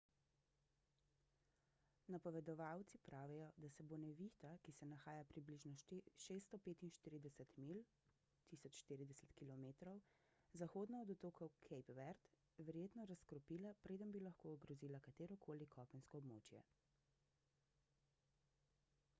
napovedovalci pravijo da se bo nevihta ki se nahaja približno 645 milj 1040 km zahodno od otokov cape verde verjetno razkropila preden bi lahko ogrozila katero koli kopensko območje